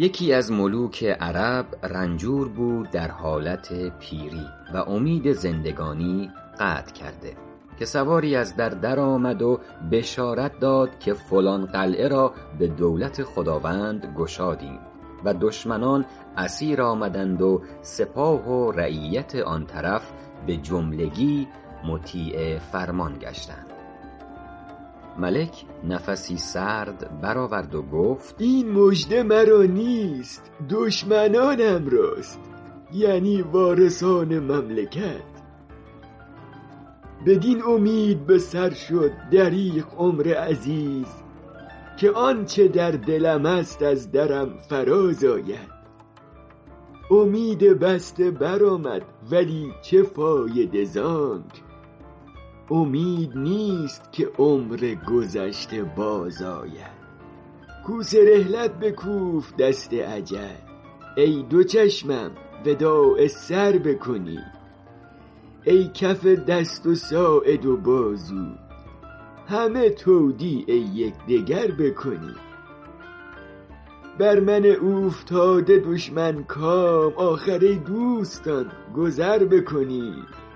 یکی از ملوک عرب رنجور بود در حالت پیری و امید زندگانی قطع کرده که سواری از در درآمد و بشارت داد که فلان قلعه را به دولت خداوند گشادیم و دشمنان اسیر آمدند و سپاه و رعیت آن طرف به جملگی مطیع فرمان گشتند ملک نفسی سرد بر آورد و گفت این مژده مرا نیست دشمنانم راست یعنی وارثان مملکت بدین امید به سر شد دریغ عمر عزیز که آنچه در دلم است از درم فراز آید امید بسته بر آمد ولی چه فایده زانک امید نیست که عمر گذشته باز آید کوس رحلت بکوفت دست اجل ای دو چشمم وداع سر بکنید ای کف دست و ساعد و بازو همه تودیع یکدگر بکنید بر من اوفتاده دشمن کام آخر ای دوستان گذر بکنید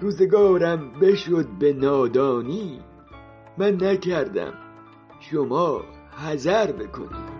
روزگارم بشد به نادانی من نکردم شما حذر بکنید